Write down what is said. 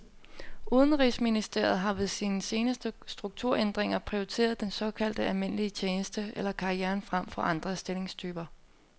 Udenrigsministeriet har ved sine seneste strukturændringer prioriteret den såkaldte almindelige tjeneste eller karrieren frem for andre stillingstyper.